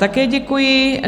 Také děkuji.